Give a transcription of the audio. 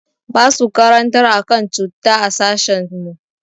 Basu karantar akan cutta a sashin mu.